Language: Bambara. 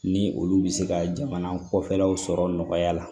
Ni olu bɛ se ka jamana kɔfɛlaw sɔrɔ nɔgɔya la